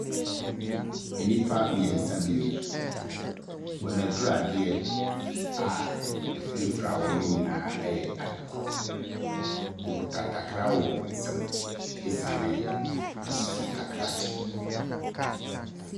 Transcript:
Enipa mmiɛnsa bi ni. Wɔn adradeɛ a efirafira wɔn nyinaa ɛyɛ adekorɔ. Ɔkuta takra wɔ wɔn nsam esane soso ntakra kyɛ.